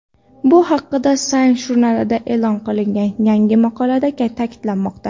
Bu haqida Science jurnalida e’lon qilingan yangi maqolada ta’kidlanmoqda.